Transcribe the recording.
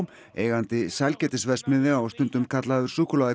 eigandi sælgætisverksmiðja og stundum kallaður